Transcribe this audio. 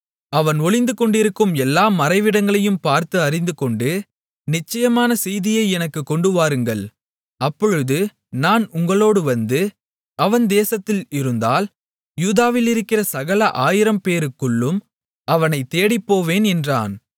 அவன் ஒளிந்துகொண்டிருக்கும் எல்லா மறைவிடங்களையும் பார்த்து அறிந்துகொண்டு நிச்சயமான செய்தியை எனக்குக் கொண்டுவாருங்கள் அப்பொழுது நான் உங்களோடு வந்து அவன் தேசத்தில் இருந்தால் யூதாவிலிருக்கிற சகல ஆயிரம் பேருக்குள்ளும் அவனைத் தேடிப் போவேன் என்றான்